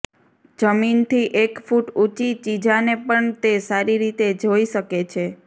જમીનથી એક ફુટ ઉંચી ચીજાને પણ તે સારી રીતે જાઇ શકે છે